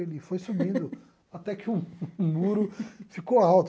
Ele foi subindo até que o muro ficou alto.